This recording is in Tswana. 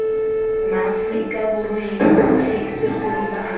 maaforika borweng otlhe segolo baagi